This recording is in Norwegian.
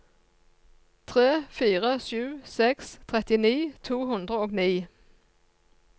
tre fire sju seks trettini to hundre og ni